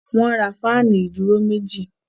Wọ́n ra fáànù ìdúró méjì.